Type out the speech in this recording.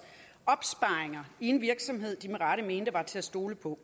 opsparinger i en virksomhed de med rette mente var til at stole på